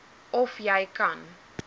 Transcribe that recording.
of jy kan